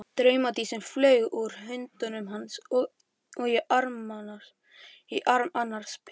Draumadísin flaug úr höndum hans og í arm annars pilts.